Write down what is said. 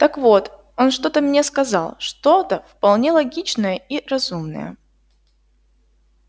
так вот он что-то мне сказал что-то вполне логичное и разумное